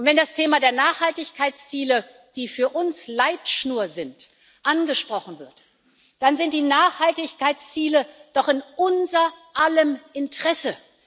Und wenn das Thema der Nachhaltigkeitsziele, die für uns Leitschnur sind, angesprochen wird, dann sind die Nachhaltigkeitsziele doch in unser aller Interesse.